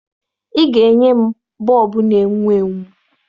Ị ga-enye m bọọbụ na-enwu enwu!